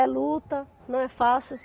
É luta, não é fácil.